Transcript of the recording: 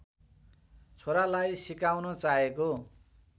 छोरालाई सिकाउन चाहेको